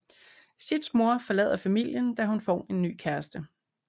Sids mor forlader familien da hun får en ny kæreste